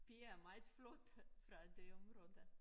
Piger er meget flotte fra det område